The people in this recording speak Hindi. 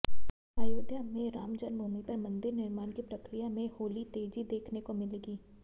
अयोध्य में रामजन्मभूमि पर मंदिर निर्माण की प्रक्रिया में होली तेजी देखने को मिलेगी